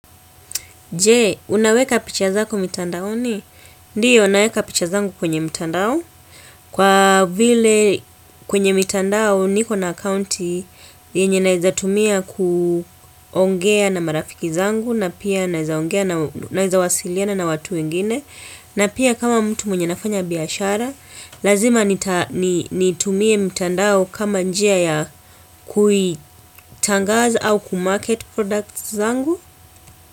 Jee, unaweka picha zako mitandao ni? Ndiyo, naweka picha zangu kwenye mitandao. Kwa vile kwenye mitandao ni kona akaunti yenye naeza tumia kuongea na marafiki zangu na pia naeza wasiliana na watu wengine. Na pia kama mtu mwenye nafanya biashara, lazima nitumie mitandao kama njia ya kuitangaza au kumarket products zangu.